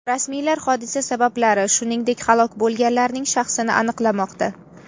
Rasmiylar hodisa sabablari, shuningdek, halok bo‘lganlarning shaxsini aniqlamoqda.